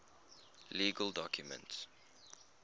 legal documents